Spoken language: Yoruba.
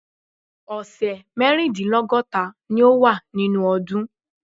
Ọ̀sẹ̀ mẹ́rìndínlọ́gọ́ta ni ó wà nínú ọdún.